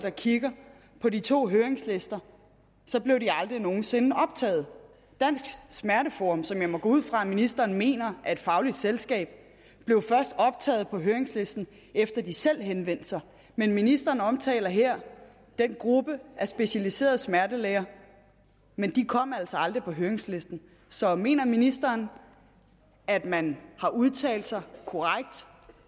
og kigger på de to høringslister blev de aldrig nogen sinde optaget dansk smerteforum som jeg må gå ud fra at ministeren mener er et fagligt selskab blev først optaget på høringslisten efter at de selv henvendte sig men ministeren omtaler her den gruppe af specialiserede smertelæger men de kom altså aldrig på høringslisten så mener ministeren at man har udtalt sig